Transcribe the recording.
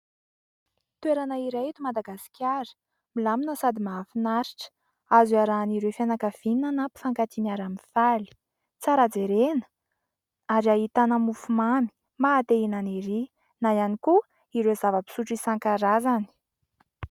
Toerana iray eto Madagasikara milamina sady mahafinaritra ; azo iarahan'ireo fianakaviana na mpifankatia miara-mifaly tsara jerena ary ahitana mofomamy maha te-hihinana erỳ na ihany koa ireo zava-pisotro isan-karazany.